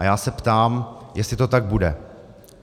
A já se ptám, jestli to tak bude.